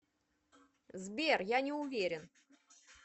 сбер я не уверен